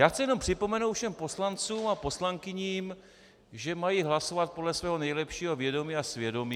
Já chci jenom připomenout všem poslancům a poslankyním, že mají hlasovat podle svého nejlepšího vědomí a svědomí.